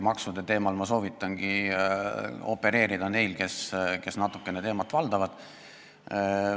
Maksude teemal soovitan ma opereerida neil, kes natukene teemat valdavad.